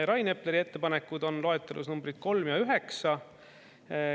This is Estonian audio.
Rain Epleri ettepanekud on loetelus numbrid 3 ja 9.